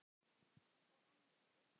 Og enn er spurt.